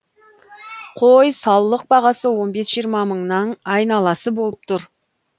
қой саулық бағасы он бес жиырма мыңның айналасы болып тұр